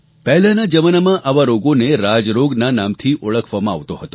પહેલાંના જમાનામાં આવા રોગોને રાજરોગના નામથી ઓળખવામાં આવતો હતો